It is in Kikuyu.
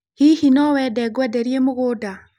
Hihi nowende ngwenderie mũgũnda?